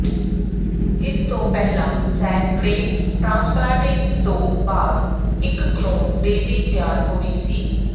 ਇਸ ਤੋਂ ਪਹਿਲਾਂ ਸੈਂਕੜੇ ਟਰਾਂਸਪਲਾਂਟਿੰਗਸ ਤੋਂ ਬਾਅਦ ਇਕ ਕਲੋਨ ਡੇਜ਼ੀ ਤਿਆਰ ਹੋਈ ਸੀ